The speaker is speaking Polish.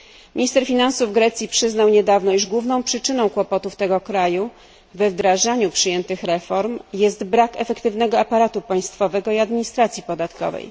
Minister finansów Grecji przyznał niedawno, iż główną przyczyną kłopotów tego kraju we wdrażaniu przyjętych reform jest brak efektywnego aparatu państwowego i administracji podatkowej.